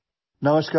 audio